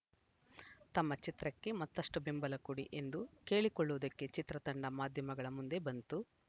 ತಮ್ಮ ಚಿತ್ರಕ್ಕೆ ಮತ್ತಷ್ಟುಬೆಂಬಲ ಕೊಡಿ ಎಂದು ಕೇಳಿಕೊಳ್ಳುವುದಕ್ಕೆ ಚಿತ್ರತಂಡ ಮಾಧ್ಯಮಗಳ ಮುಂದೆ ಬಂತು